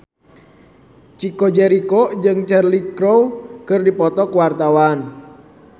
Chico Jericho jeung Cheryl Crow keur dipoto ku wartawan